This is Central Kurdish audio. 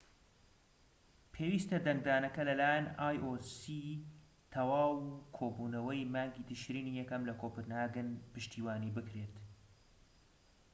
پێویستە دەنگدانەکە لە لایەن iocی تەواو و کۆبوونەوەی مانگی تشرینی یەکەم لە کۆپنهاگن پشتیوانی بکرێت